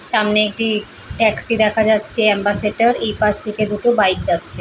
সামনে একটি ট্যাক্সি দেখা যাচ্ছে অ্যাম্বাসেডর । এই পাশ থেকে দুটো বাইক যাচ্ছে।